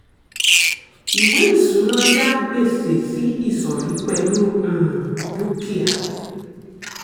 ìwé ìṣúná yà gbèsè sí ìsọ̀rí pẹ̀lú um dúkìá.